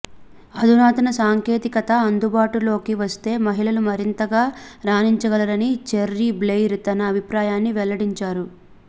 అధునాతన సాంకేతికత అందుబాటులోకి వస్తే మహిళలు మరింతగా రాణించగలరని చెర్రీ బ్లెయిర్ తన అభిప్రాయాన్ని వెల్లడించారు